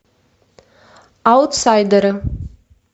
аутсайдеры